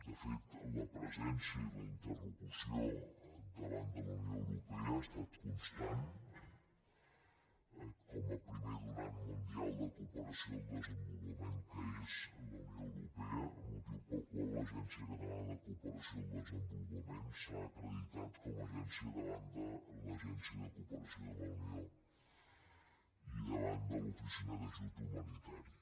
de fet la presència i la interlocució davant de la unió europea ha estat constant com a primer donant mundial de cooperació al desenvolupament que és la unió europea motiu pel qual l’agència catalana de cooperació al desenvolupament s’ha acreditat com a agència davant de l’agència de cooperació de la unió i davant de l’oficina d’ajut humanitari